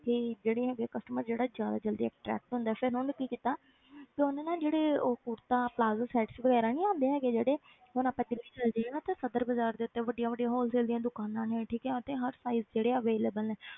ਕਿ ਜਿਹੜੇ ਹੈਗੇ customer ਜਿਹੜਾ ਜ਼ਿਆਦਾ ਜ਼ਲਦੀ attract ਹੁੰਦਾ, ਫਿਰ ਉਹਨੇ ਕੀ ਕੀਤਾ ਫਿਰ ਉਹਨੇ ਨਾ ਜਿਹੜੇ ਉਹ ਕੁੜਤਾ plazo sets ਵਗ਼ੈਰਾ ਨੀ ਆਉਂਦੇ ਹੈਗੇ ਜਿਹੜੇ ਹੁਣ ਆਪਾਂ ਦਿੱਲੀ ਚਲੇ ਜਾਈਏ ਨਾ ਉੱਥੇ ਸਦਰ ਬਾਜ਼ਾਰ ਦੇ ਉੱਤੇ ਵੱਡੀਆਂ ਵੱਡੀਆਂ wholesale ਦੀਆਂ ਦੁਕਾਨਾਂ ਨੇ ਠੀਕ ਹੈ ਉੱਥੇ ਹਰ size ਜਿਹੜੇ ਆ available ਹੈ।